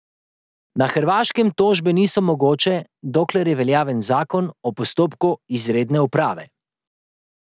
Na Hrvaškem tožbe niso mogoče, dokler je veljaven zakon o postopku izredne uprave.